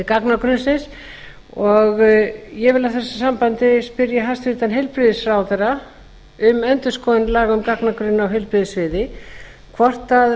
gagnagrunnsins ég vil í þessu sambandi spyrja hæstvirtan heilbrigðisráðherra um endurskoðun laga um gagnagrunn á heilbrigðissviði hvort